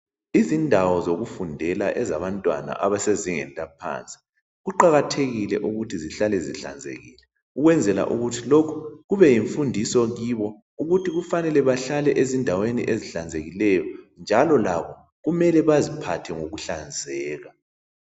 Izindawo zokufundela ezabantwana abasezingeni laphansi, kuqakathekile ukuthi zihlale zihlanzekile ukwenzela ukuthi lokhu kube yimfundiso kibo ukuthi kufanele bahlale ezindaweni ezihlanzekileyo, njalo labo kumele baziphathe ngokuhlazeka.